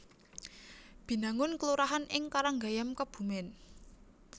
Binangun kelurahan ing Karanggayam Kebumèn